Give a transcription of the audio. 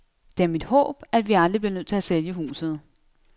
Det er mit håb, at vi aldrig bliver nødt til at sælge huset.